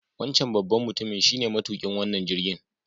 Wancan babban mutumin shine matuƙin wannan jirgin.